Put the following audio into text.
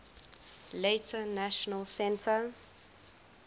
later national centre